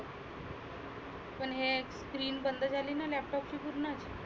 पण हे screen बंद झालीना laptop ची पुर्ण.